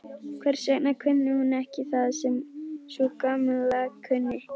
Hvers vegna kunni hún ekki það sem sú Gamla kunni?